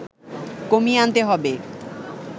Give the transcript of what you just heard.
কমিয়ে আনতে হবে